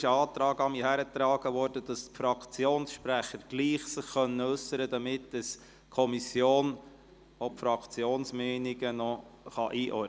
: Es wurde an mich die Bitte herangetragen, die Fraktionssprecher sollten sich gleichwohl äussern können, damit die Kommission auch die Fraktionsmeinungen einordnen kann.